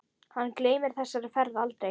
Hann gleymir þessari ferð aldrei.